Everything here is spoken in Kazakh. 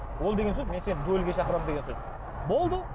ол деген сөз мен сені дуэльге шақырамын деген сөз болды